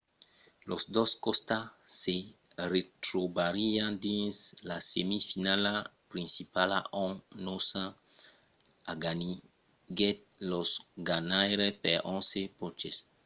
los dos costats se retrobarián dins la semifinala principala ont noosa aganiguèt los ganhaires per 11 ponches